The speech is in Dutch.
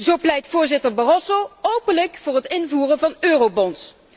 Zo pleit voorzitter Barroso openlijk voor het invoeren van eurobonds.